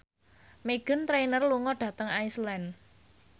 Meghan Trainor lunga dhateng Iceland